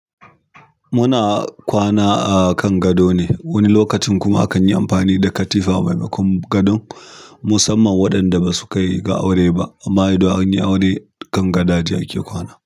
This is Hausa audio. Muna kwana a kan gado ne, wani lokacin kuma akan yi amfani da katifa maimakon gadon, musamman waɗanda basu kai ga aure ba. Ama idan an yi aure kan gadaje ake kwana.